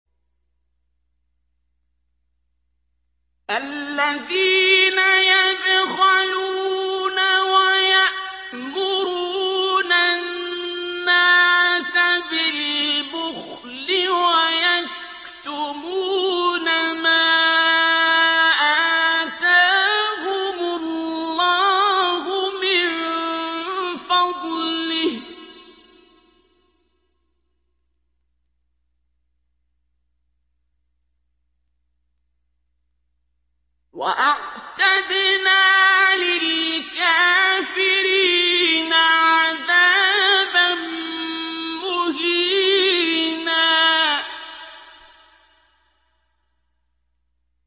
الَّذِينَ يَبْخَلُونَ وَيَأْمُرُونَ النَّاسَ بِالْبُخْلِ وَيَكْتُمُونَ مَا آتَاهُمُ اللَّهُ مِن فَضْلِهِ ۗ وَأَعْتَدْنَا لِلْكَافِرِينَ عَذَابًا مُّهِينًا